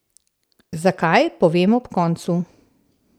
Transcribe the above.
Zakaj, povem ob koncu.